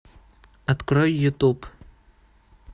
открой ютуб